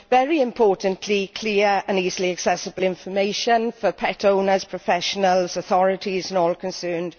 the very important clear and easily accessible information for pet owners, professionals, authorities and all concerned.